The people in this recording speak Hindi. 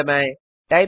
एंटर दबाएं